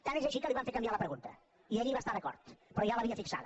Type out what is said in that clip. tant és així que li van fer canviar la pregunta i ell hi va estar d’acord però ja l’havia fixada